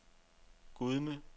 Gudme